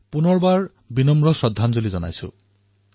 পুনৰ তেওঁলৈ বিনম্ৰ শ্ৰদ্ধাঞ্জলি যাচিছোঁ